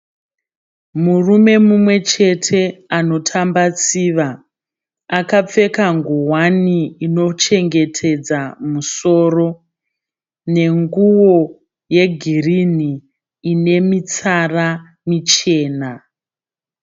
Murume mumwechete anotamba tsiva . Akapfeka nguwani inochengetedza musoro nenguwo yegirinhi ine mitsara michena.